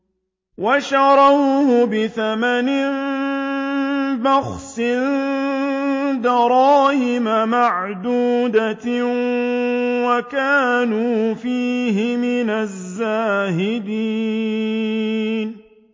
وَشَرَوْهُ بِثَمَنٍ بَخْسٍ دَرَاهِمَ مَعْدُودَةٍ وَكَانُوا فِيهِ مِنَ الزَّاهِدِينَ